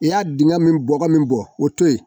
I y'a dingɛ min bɔ ka min bɔ o to ye